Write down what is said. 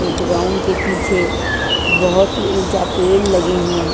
एक राउन्ड के पीछे बहुत ही ऊंचा पेड़ लगे हैं।